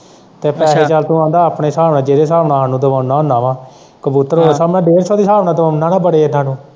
ਪੈਸੇ ਦਾ ਤੂੰ ਕਹਿੰਦਾ ਆਪਣੇ ਹਿਸਾਬ ਨਾਲ਼ ਜਿਹੜੇ ਹਿਸਾਬ ਨਾਲ਼ ਸਾਨੂੰ ਦਿਵਾਉਣਾ ਹੂੰਨਾ ਵਾਂ ਕਬੂਤਰ ਵੱਲੋਂ ਮੈਂ ਡੇਢ ਸੌ ਦੇ ਹਿਸਾਬ ਨਾਲ਼ ਤੋਲਣਾ ਨਾ ਬੜੇ ਲੋਕਾਂ ਨੂੰ।